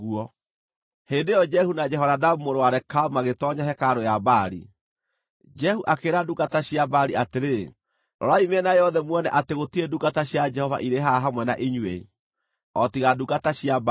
Hĩndĩ ĩyo Jehu na Jehonadabu mũrũ wa Rekabu magĩtoonya hekarũ ya Baali. Jehu akĩĩra ndungata cia Baali atĩrĩ, “Rorai mĩena yothe muone atĩ gũtirĩ ndungata cia Jehova irĩ haha hamwe na inyuĩ, o tiga ndungata cia Baali.”